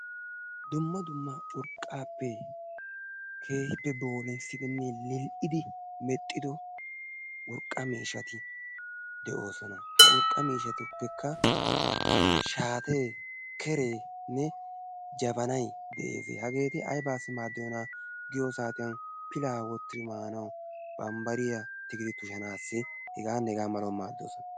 dumma dumma urqqapee keehippe boolimissidi medhdhido urqqa miishshati de'oosona. h urqqaa miishstukka shaate, kerenne, jabanay de'ees. haggeti aybbassi maadiyoona giyo saatiyanpila wottidi maanaw, bambbariyaa tushidi maanaw heganne hegaa malaw maaddoosona.